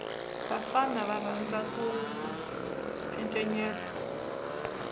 vafana va rhandza ku encenyeta